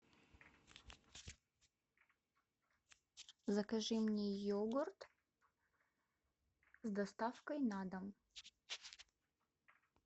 закажи мне йогурт с доставкой на дом